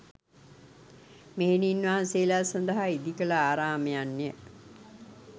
මෙහෙණින් වහන්සේලා සඳහා ඉදිකළ ආරාමයන්ය